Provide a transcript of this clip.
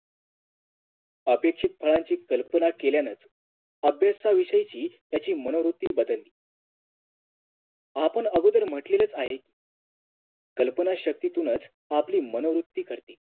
आपेक्षित फळांची कल्पना केल्यानं अभ्यासाविषयी त्याची मनोवृत्ती बदलते आपण आगोदर म्हटलेलच आहे कल्पना शक्तीतूनच आपली मनोवृत्ती घडते